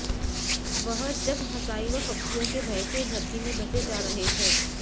वह जगहंसाई व फब्तियों के भय से धरती में धंसे जा रहे थे